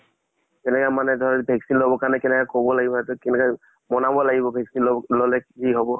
যেনেকা মানে ধৰ vaccine লব কাৰণে কেনেকা কব লাগিব, তাত কেনেকে বনাব লাগিব vaccine লব ললে কি হব